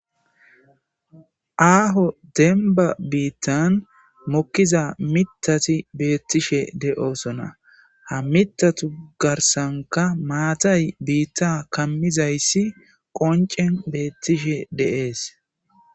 Aaho denba biittan mokkiza mitati beettishe de'osona ha mitatu garsanka maatay biitta kammizayssi qoncen beettishe deees.